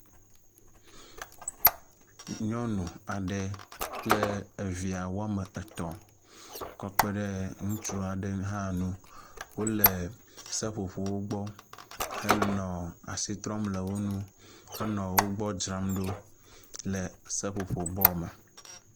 Nyɔnu aɖe kple evia wɔme etɔ̃ kɔ kpe ɖe ŋutsu aɖe hã nu wo le seƒoƒowo gbɔ henɔ asi trɔm le wo nu henɔ wogbɔ dzram ɖo le seƒoƒobɔ me.